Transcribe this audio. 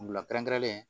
Wula kɛrɛn kɛrɛnlen